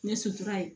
Ne sotra ye